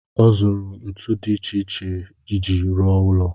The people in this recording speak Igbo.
Ọ zụrụ ntu dị iche iche iji ruo ụlọ.